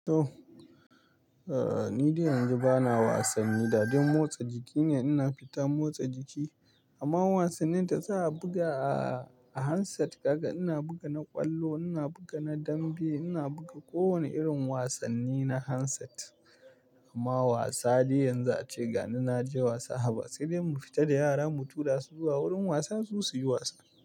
Oh, ni dai yanzu bana wasanni, dadai motsa jiki ne. Ina fita motsa jiki amma wasannin da za a buga a handset, daga ina buga na ƙwallo, ina buga na dambe, ina buga kowane irin wasanni na handset. Amma wasa dai yanzu ace gani, na je wasa haba. Sai dai mu fita da yara mu tura su zuwa wurin wasa su su yi wasa.